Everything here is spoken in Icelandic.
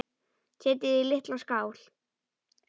Setjið í litla skál.